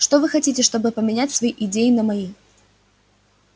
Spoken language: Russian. что вы хотите чтобы поменять свои идеи на мои